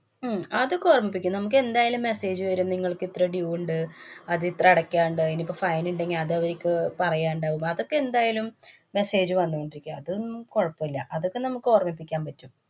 ഉം അതൊക്കെ ഓര്‍മ്മിപ്പിക്കും. നമ്മക്കെന്തായാലും message വരും. നിങ്ങള്‍ക്കിത്ര due ഉണ്ട്. അതിത്ര അടയ്ക്കാന്‍ ണ്ട്. ഇനിപ്പോ fine ഇണ്ടെങ്കില്‍ അതവര്ക്ക്‌ പറയാനുണ്ടാവും. അതൊക്കെ എന്തായാലും message വന്നോണ്ടിരിക്കും. അതൊന്നും കുഴപ്പില്ല. അതൊക്കെ നമുക്ക് ഓര്‍മ്മിപ്പിക്കാന്‍ പറ്റും.